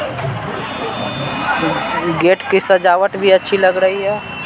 Gate की सजावट भी अच्छी लग रही है।